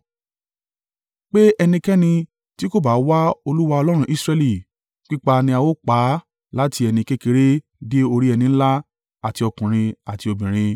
Pé ẹnikẹ́ni tí kò bá wá Olúwa Ọlọ́run Israẹli, pípa ni á ó pa á láti ẹni kékeré dé orí ẹni ńlá àti ọkùnrin àti obìnrin.